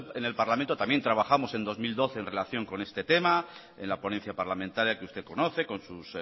en el parlamento también trabajamos en dos mil doce en relación con este tema en la ponencia parlamentaria que usted conoce con sus